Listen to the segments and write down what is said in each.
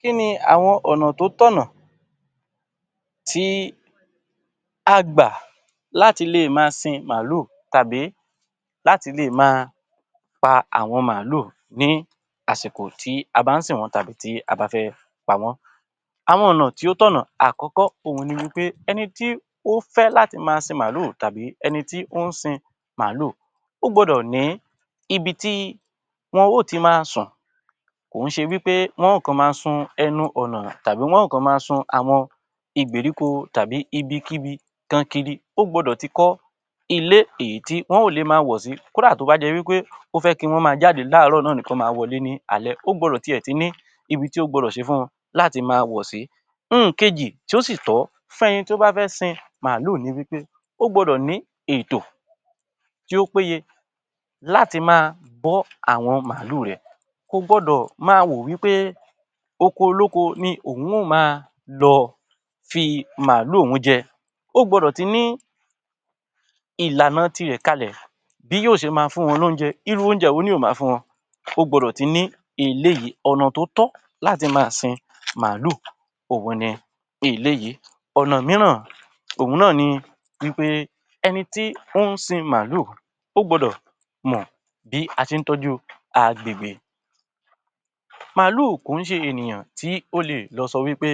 Kí ni àwọn ọ̀nà tó tọ̀nà tí a gbà láti le máa sin màálù tàbí láti lè máa pa àwọn màálù ní àsìkò tí a bá ń sìn wọ́n tàbí tí a bá fẹ́ pa wọ́n? Àwọn ọ̀nà tí ó tọ̀nà àkọ́kọ́ òhun ni wí pé; ẹni tí ó fẹ́ láti máa sin màálù tàbí ẹni tí ó ń sin màálù, ó gbọ́dọ̀ ní ibi tí wọn ó ti máa sùn. Kò ó ṣe wí pé wọn ó kọ̀ máa sun ẹnu ọ̀nà tàbí wọn ó kọ máa sun àwọn ìgbèríko tàbí ibikíbi tan kiri. Ó gbọ́dọ̀ ti kọ́ ilé èyí tí wọn ó lè máa wọ̀ sí kódà to bá jẹ wí pé ó fẹ́ kí wọ́n máa jáde láàárọ̀ náà ni kí wọ́n máa wọlé ní alẹ́, ó gbọ́dọ̀ tiẹ̀ ti ní ibi tí ó gbọ́dọ̀ ṣe fún wọn láti máa wọ̀ sí. N kejì tí ó sì tọ́ fún ẹni tó bá fẹ́ sin màálù ni wí pé, ó gbọ́dọ̀ ní ètò tí ó péye láti máa bọ́ àwọn màálù rẹ̀. Kò gbọ́dọ̀ máa wò wí pé oko olóko ni òun ó máa lọ fi màálù òun jẹ. Ó gbọ́dọ̀ ti ní ìlànà ti rẹ̀ kalẹ̀- bí yóò ṣe máa fún wọn lóúnjẹ, irú oúnjẹ wo ni yóò máa fún wọn, ó gbọ́dọ̀ ti ní eléyìí. Ọ̀nà tó tọ́ láti máa sin màálù òhun ni eléyìí. Ona mìíràn òhun náà ni wí pé ẹni tí ó ń sin màálù, ó gbọ́dọ̀ mọ̀ bí a ṣe ń tọ́jú agbègbè. Màálù ò kú ṣe ènìyàn tí ó lè lọ sọ wí pé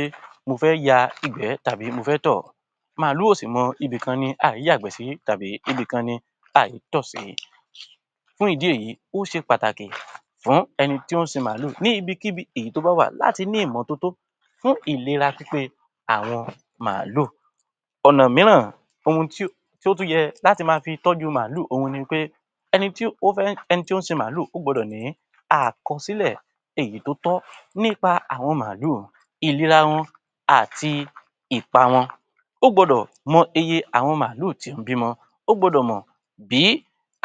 mo fẹ́ ya ìgbẹ́ tàbí mo fẹ́ tọ̀. Màálù ò sì mọ ibì kan ni a í yàgbẹ́ sí tàbí ibìkan ni a í tọ̀ sí. Fún ìdí èyí, ó ṣe pàtàkì fún ẹni tí ó ń sin màálù ní ibikíbi èyí tó bá wà láti ní ìmọ́tótó fún ìlera pípé àwọn màálù. Ona mìíràn ohun tí ó tún yẹ láti máa fi tọ́jú màálù òhun ni pé: ẹni tí ó fẹ́ ẹni tó ń sin màálù ó gbọ́dọ̀ ní àkọsílẹ̀ èyí tó tọ́ nípa àwọn màálù, ìlera wọn àti Ìpa wọn. Ó gbọ́dọ̀ mọ iye àwọn màálù tí ó ń bímọ, ó gbọ́dọ̀ mọ bí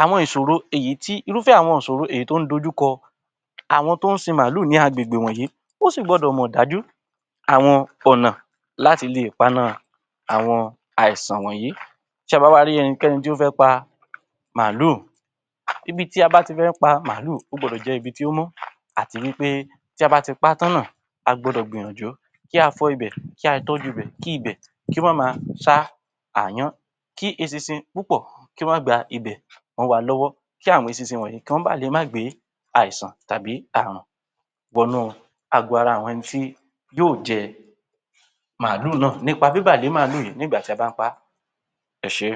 àwọn ìṣòro èyí tí irúfé àwọn ìṣòro èyí tó ń dójú kọ àwọn tó ń sin màálù ni àwọn agbègbè wọ̀nyí, wọ́n sì gbọ́dọ̀ mọ dájú àwọn ọ̀nà láti lè paná àwọn àìsàn wọ̀nyí. Tí a bá wá rí ẹnikẹ́ni tí ó fẹ́ pa màálù, ibi tí a bá ti fẹ́ pa màálù ó gbọ́dọ̀ jẹ́ ibi tí ó mọ́ àti wí pé tí a bá ti pá tán náà, a gbọ́dọ̀ gbìyànjú kí a fọ ibẹ̀, kí a tọ́jú ibẹ̀, kí ibẹ kó má ma ṣá àáyán, kí eṣinṣin púpọ̀ kí ó má gba ibẹ̀ mọ wa lọ́wọ́, kí àwọn eṣinṣin wọ̀nyí kí wọn ba lè má gbe é àìsàn tàbí àrùn wọnú àgọ́ ara àwọn ẹni tí yóò jẹ màálù náà. Nípa bíbà lé màálù yìí nígbà tí a bá pa á. Ẹ ṣé.